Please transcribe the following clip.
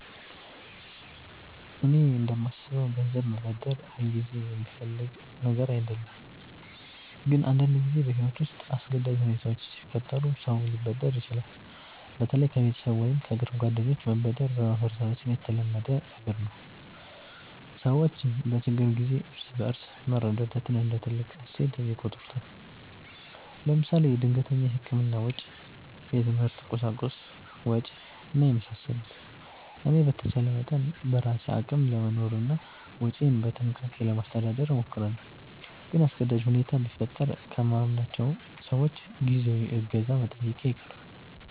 እኔ እንደማስበው ገንዘብ መበደር ሁልጊዜ የሚፈለግ ነገር አይደለም፣ ግን አንዳንድ ጊዜ በሕይወት ውስጥ አስገዳጅ ሁኔታዎች ሲፈጠሩ ሰው ሊበደር ይችላል። በተለይ ከቤተሰብ ወይም ከቅርብ ጓደኞች መበደር በማህበረሰባችን የተለመደ ነገር ነው። ሰዎች በችግር ጊዜ እርስ በርስ መረዳዳትን እንደ ትልቅ እሴት ይቆጥሩታል። ለምሳሌ ድንገተኛ የሕክምና ወጪ፣ የትምህርት ቁሳቁስ ወጭ እና የመሳሰሉት። እኔ በተቻለ መጠን በራሴ አቅም ለመኖርና ወጪዬን በጥንቃቄ ለማስተዳደር እሞክራለሁ። ግን አስገዳጅ ሁኔታ ቢፈጠር ከማምናቸው ሰዎች ጊዜያዊ እገዛ መጠየቄ አይቀርም